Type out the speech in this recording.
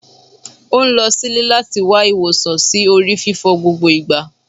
O n lọ sílé lati wa iwosan si ori fífọ́ gbogbo igba